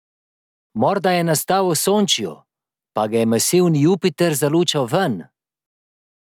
Morda je nastal v Osončju, pa ga je masivni Jupiter zalučal ven?